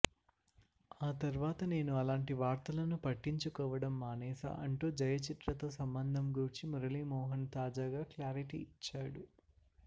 ఆ తర్వాత నేను అలాంటి వార్తలను పట్టించుకోవడం మానేసా అంటూ జయచిత్రతో సంబంధం గూర్చి మురళీమోహన్ తాజాగా క్లారిటీ ఇచ్చాడు